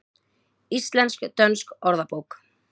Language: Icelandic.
Íslensk-dönsk orðabók.